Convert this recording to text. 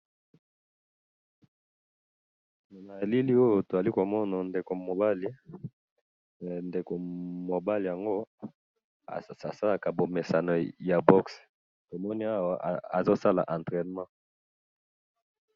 Na elili oyo toali komona ndeko mobali, ndeko mobali yango asalaka bomesano ya box tomoni owa azosala entrainment.